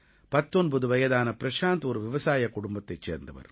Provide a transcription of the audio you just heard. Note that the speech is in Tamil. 19 வயதான ப்ரஷாந்த் ஒரு விவசாயக் குடும்பத்தைச் சேர்ந்தவர்